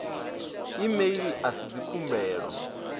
e mail a si dzikhumbelo